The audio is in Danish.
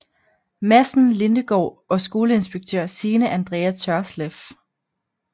Madsen Lindegaard og skoleinspektør Signe Andrea Tørsleff